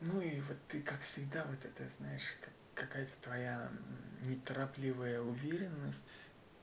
ну и вот ты так всегда вот это знаешь как какая-то твоя неторопливая уверенность